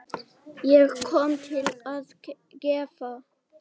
Ég kom til að gefa.